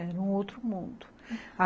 Era um outro mundo.